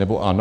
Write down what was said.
Nebo ano?